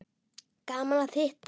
Gaman að hitta